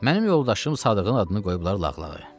Mənim yoldaşım Sadığın adını qoyublar lağlağa.